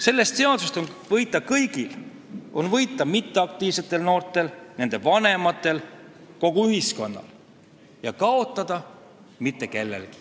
Sellest seadusest on võita kõigil – on võita mitteaktiivsetel noortel, nende vanematel, kogu ühiskonnal – ja kaotada mitte kellelgi.